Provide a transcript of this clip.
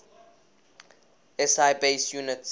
si base units